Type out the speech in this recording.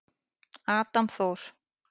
Adam Þór.